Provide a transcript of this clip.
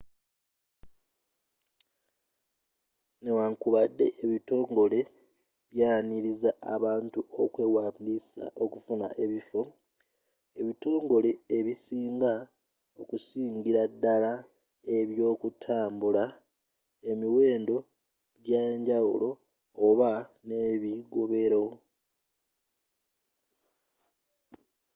nnewaakubadde ebitongole byaniriza abantu okwewandisa okufuna ebiffo ebitongole ebisinga okusingira ddala eby'okutambula emiwendo gya njawulo oba n'ebigobero